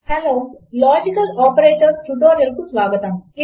hello logical operators tutorial కు స్వాగతము